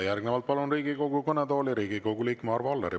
Järgnevalt palun Riigikogu kõnetooli Riigikogu liikme Arvo Alleri.